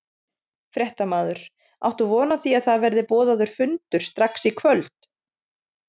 Fréttamaður: Áttu von á því að það verði boðaður fundur strax í kvöld?